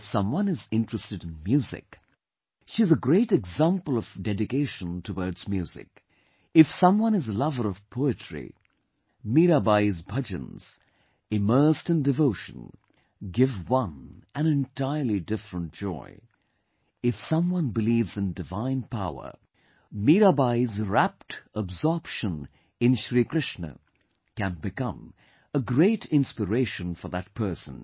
If someone is interested in music, she is a great example of dedication towards music; if someone is a lover of poetry, Meerabai's bhajans, immersed in devotion, give one an entirely different joy; if someone believes in divine power, Mirabai's rapt absorption in Shri Krishna can become a great inspiration for that person